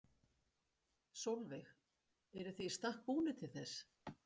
Sólveig: Eruð þið í stakk búnir til þess?